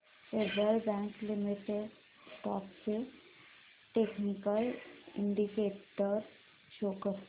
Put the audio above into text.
federal bank limited stocks चे technical indicators show कर